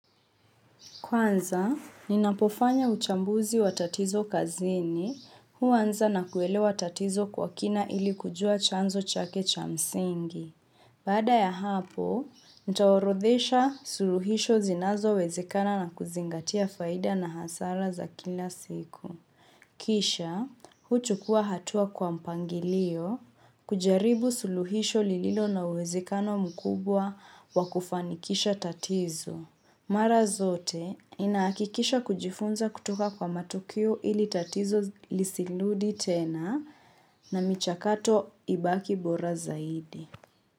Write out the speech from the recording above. Kwanza, ninapofanya uchambuzi wa tatizo kazini, huanza na kuelewa tatizo kwa kina ili kujua chanzo chake cha msingi. Baada ya hapo, nitaorodhesha suluhisho zinazowezekana na kuzingatia faida na hasara za kila siku. Kisha, huchukua hatua kwa mpangilio, kujaribu suluhisho lililo na uwezekano mkubwa wa kufanikisha tatizo. Mara zote ninahakikisha kujifunza kutoka kwa matukio ili tatizo lisirudi tena na michakato ibaki bora zaidi.